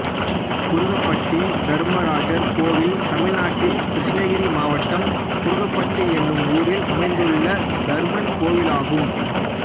குருகப்பட்டி தர்மராஜர் கோயில் தமிழ்நாட்டில் கிருஷ்ணகிரி மாவட்டம் குருகப்பட்டி என்னும் ஊரில் அமைந்துள்ள தர்மன் கோயிலாகும்